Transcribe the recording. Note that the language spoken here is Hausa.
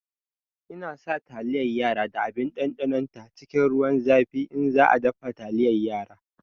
Ina sa taliyar yara da abin ɗanɗanon ta cikin ruwan zafi in za a dafa taliyar yara